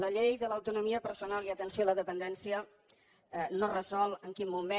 la llei de l’autonomia personal i atenció a la dependència no resol en quin moment